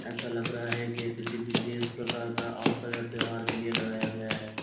ऐसा लग रहा है कि यह किसी विशेष प्रकार का अवसर या त्यौहार के लिए लगाया गया है।